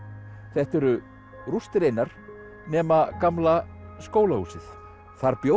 þetta eru rústir einar nema gamla skólahúsið þar bjó